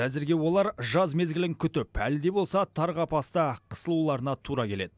әзірге олар жаз мезгілін күтіп әлі де болса тар қапаста қысылуларына тура келеді